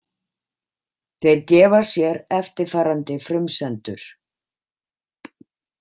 Þeir gefa sér eftirfarandi frumsendur.